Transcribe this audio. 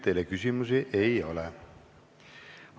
Teile küsimusi ei ole.